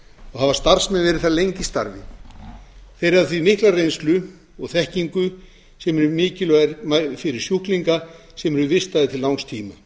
hafa starfsmenn verið þar lengi í starfi þeir hafa því mikla reynslu og þekkingu sem er mikilvæg fyrir sjúklingana sem eru vistaðir til langs tíma